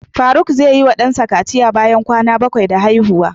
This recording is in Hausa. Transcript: Faruk zai yi wa dansa kaciya bayan kwana bakwai da haihuwa.